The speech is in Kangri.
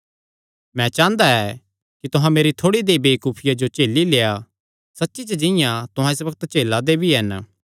मैं चांह़दा ऐ कि तुहां मेरी थोड़ी देहई वेबकूफिया जो झेली लेआ सच्ची च जिंआं तुहां इस बग्त झेला दे भी हन